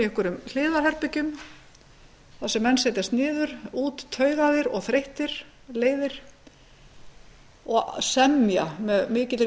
einhverjum hliðarherbergjum þar sem menn setjast niður úttaugaðir og þreyttir leiðir og semja með mikilli